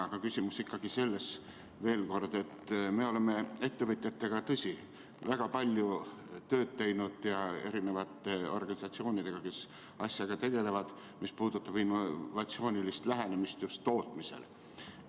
Aga küsimus on ikkagi selles, et me oleme tõesti ettevõtjate ja organisatsioonidega, kes asjaga tegelevad, väga palju tööd teinud, mis puudutab innovaatilist lähenemist tootmisele.